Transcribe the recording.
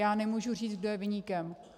Já nemůžu říct, kdo je viníkem.